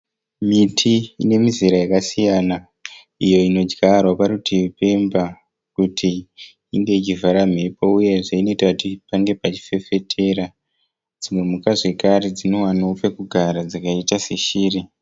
Miti ine mizera yakasiyana iyo inodyarwa parutivi pemba kuti inge ichivhara mhepo uyezve inoita kuti pange pachifefetera. dzimwe mhuka dzakare ndinowana pekugara dzakaita seshiri.